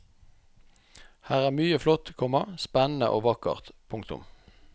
Her er mye flott, komma spennende og vakkert. punktum